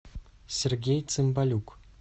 сергей цимбалюк